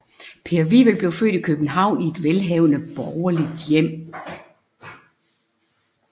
Per Wivel blev født i København i et velhavende borgerligt hjem